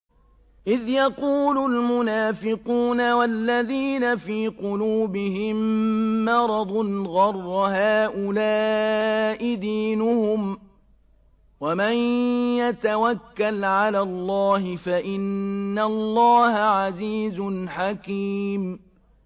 إِذْ يَقُولُ الْمُنَافِقُونَ وَالَّذِينَ فِي قُلُوبِهِم مَّرَضٌ غَرَّ هَٰؤُلَاءِ دِينُهُمْ ۗ وَمَن يَتَوَكَّلْ عَلَى اللَّهِ فَإِنَّ اللَّهَ عَزِيزٌ حَكِيمٌ